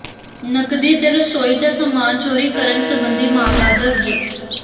ਨਕਦੀ ਤੇ ਰਸੋਈ ਦਾ ਸਾਮਾਨ ਚੋਰੀ ਕਰਨ ਸਬੰਧੀ ਮਾਮਲਾ ਦਰਜ